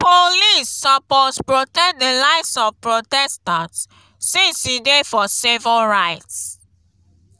police suppose protect di lives of protestants since e dey for civil rights.